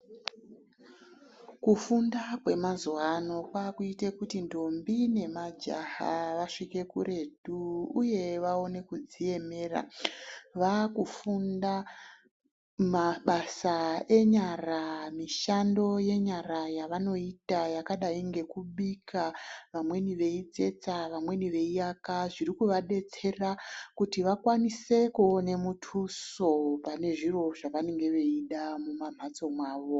Kufunda kwemazuva ano kwakuite kuti ndombi nemajaha vasvike kuretu, uye vaone kudziemera. Vakufunda mabasa enyara, mishando yenyara yavanoita yakadai ngekubika. Vamweni veitsetsa vamweni veiaka. Zviri kuvabetsera kuti vakwanise kuona mutuso, panezviro zvavanenge veida mumamhatso mwavo.